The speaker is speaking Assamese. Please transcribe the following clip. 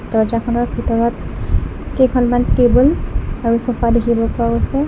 দৰ্জাখনৰ ভিতৰত কেইখনমান টেবুল আৰু ছ'ফা দেখিব পোৱা গৈছে।